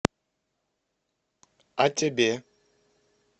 а тебе